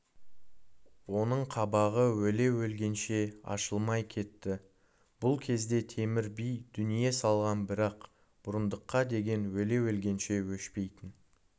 оның қабағы өле-өлгенше ашылмай кетті бұл кезде темір би дүние салған бірақ бұрындыққа деген өле-өлгенше өшпейтін